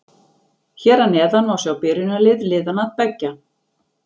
Hér að neðan má sjá byrjunarlið liðanna beggja.